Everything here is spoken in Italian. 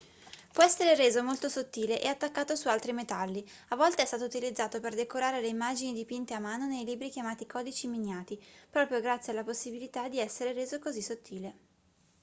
può essere reso molto sottile e attaccato su altri metalli a volte è stato utilizzato per decorare le immagini dipinte a mano nei libri chiamati codici miniati proprio grazie alla possibilità di essere reso così sottile